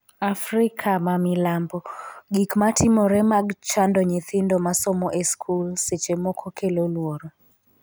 Afrika ma milambo. Gik ma timore mag chando nyithindo ma somo e skul, seche moko kelo luoro.